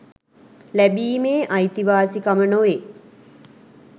ලැබීමේ අයිතිවාසිකම නොවේ